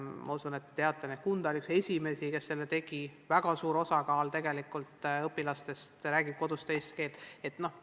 Küllap te teate, et Kunda oli üks esimesi, kes selle tegi, kuigi väga suur osa õpilastest räägib seal kodus teist keelt.